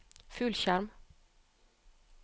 fullskjerm